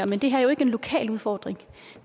men det her er jo ikke en lokal udfordring